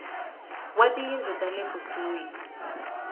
wa tiyindlu ta le kusuhi